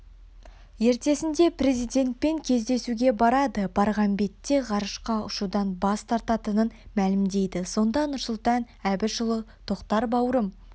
ертесіне президентпен кездесуге барады барған бетте ғарышқа ұшудан бас тартатынын мәлімдейді сонда нұрсұлтан әбішұлы тоқтар бауырым